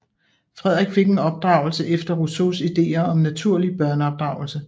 Frederik fik en opdragelse efter Rousseaus ideer om naturlig børneopdragelse